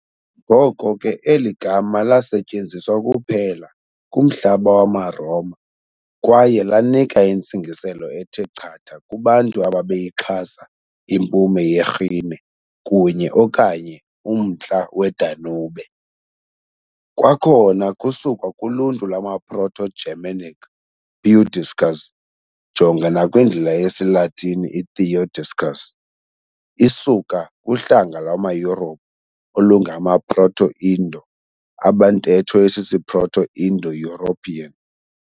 Ngoko ke eli gama lasetyenziswa kuphela kumhlaba wamaRoma kwaye lanika intsingiselo ethe chatha kubantu ababeyixhasa impuma yeRhine kunye - okanye umntla weDanube. Kwakhona kusukwa kuluntu lwama-Proto-Germanic þiudiskaz, jonga nakwindlela yesiLatini i-Theodiscus, isuka kuhlanga lwamaYurophu olungama-Proto-Indo, abantetho isisiProto-Indo-European.